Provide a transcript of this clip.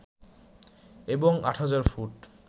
এবং ৮০০০ ফুট